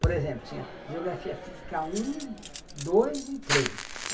Por exemplo, tinha Geografia Física um, dois e três.